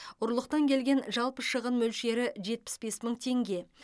ұрлықтан келген жалпы шығын мөлшері жетпіс бес мың теңге